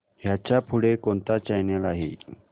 ह्याच्या पुढे कोणता चॅनल आहे